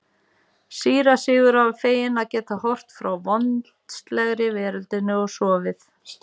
Síra Sigurður var feginn að geta horfið frá vondslegri veröldinni og sofið.